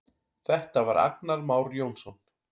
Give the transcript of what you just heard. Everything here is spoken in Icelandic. Þetta var Agnar Már Jónsson.